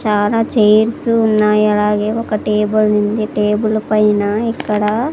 చానా చైర్స్ ఉన్నాయ్ అలాగే ఒక టేబుల్ ఉంది టేబుల్ పైన ఇక్కడ--